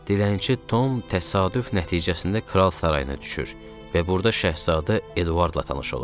Dilənçi Tom təsadüf nəticəsində kral sarayına düşür və burda şahzadə Eduardla tanış olur.